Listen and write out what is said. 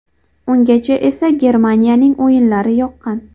Ungacha esa Germaniyaning o‘yinlari yoqqan.